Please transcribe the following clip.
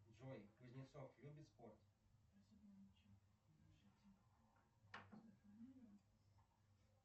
джой кузнецов любит спорт